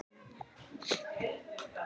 Magga dustaði snjóinn af Kötu.